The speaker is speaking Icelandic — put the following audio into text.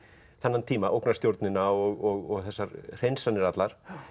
þennan tíma ógnarstjórnina og þessar hreinsanir allar